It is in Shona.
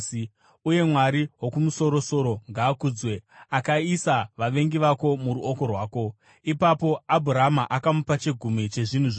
Uye Mwari Wokumusoro-soro ngaakudzwe, akaisa vavengi vako muruoko rwako.” Ipapo Abhurama akamupa chegumi chezvinhu zvose.